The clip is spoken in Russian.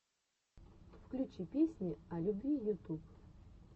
включи песни о любви ютуб